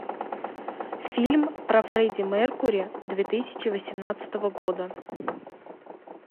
фильм про фредди меркури две тысячи восемнадцатого года